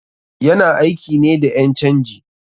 Yana aiki ne da ƴan canji.